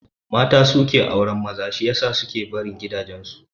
Mata su suke auran maza shi yasa su suke barin gidan su